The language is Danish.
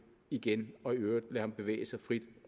igen og i øvrigt lade bevæge sig frit